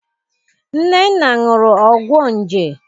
Nnenna ñụrụ ọgwọ nje.